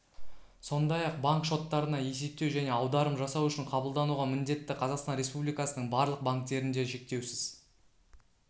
сондай-ақ банк шоттарына есептеу және аударым жасау үшін қабылдануға міндетті қазақстан республикасының барлық банктерінде шектеусіз